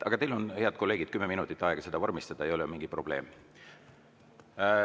Aga teil, head kolleegid, on kümme minutit aega seda vormistada, ei ole mingit probleemi.